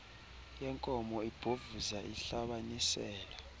yenkomo ibhovuza ihlabanisela